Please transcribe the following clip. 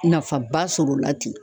Nafaba sɔrɔ o la ten